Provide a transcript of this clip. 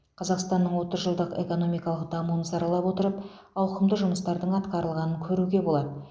қазақстанның отыз жылдық экономикалық дамуын саралап отырып ауқымды жұмыстардың атқарылғанын көруге болады